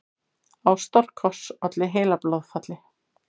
Ástarkoss olli heilablóðfalli